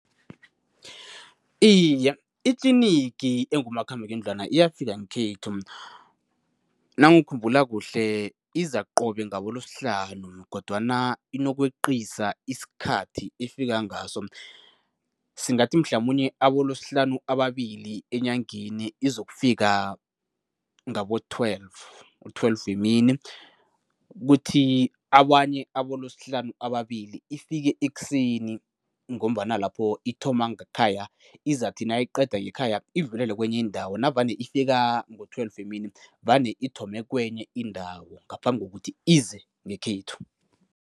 Iye, itlinigi engumakhambangendlwana iyafika ngekhethu. Nangikhumbula kuhle, iza qobe ngaboLwesihlanu kodwana inokweqiswa isikhathi ifika ngaso. Singathi mhlamunye aboLosihlanu ababili enyangeni izokufika ngabo-twelve, u-twelve wemini, kuthi abanye aboLosihlanu ababili ifike ekuseni ngombana lapho ithoma ngekhaya, izathi nayiqeda ngekhaya idlulele kwenye indawo. Navane ifika ngo-twelve emini vane ithome kwenye indawo, ngaphambi kokuthi ize ngekhethu.